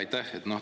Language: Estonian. Aitäh!